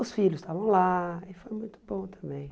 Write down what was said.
Os filhos estavam lá e foi muito bom também.